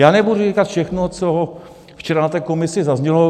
Já nebudu říkat všechno, co včera na té komisi zaznělo.